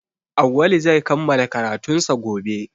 Auwalu zai kammala karatunsa gobe